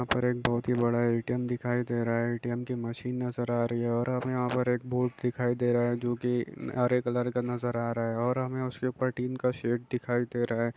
यहाँ पर एक बहुत ही बड़ा ए_टी_एम दिखाई दे रहा है ए_टी_एम की मशीन नजर आ रही है और हमें यहाँ पर एक बोर्ड दिखाई दे रहा है जोकि हरे कलर का नजर आ रहा है और हमें उसके ऊपर टीन का सेट दिखाई दे रहा है।